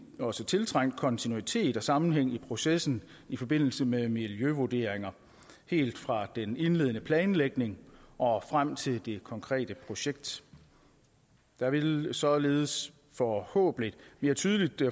også tiltrængt kontinuitet og sammenhæng i processen i forbindelse med miljøvurderinger helt fra den indledende planlægning og frem til det konkrete projekt der vil således forhåbentlig mere tydeligt